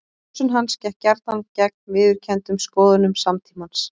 Hugsun hans gekk gjarnan gegn viðurkenndum skoðunum samtímans.